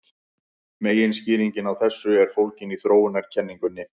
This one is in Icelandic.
Meginskýringin á þessu er fólgin í þróunarkenningunni.